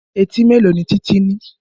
Etí mélòó ni Títí ní?